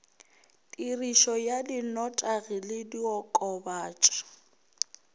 tirišo ya dinotagi le diokobatši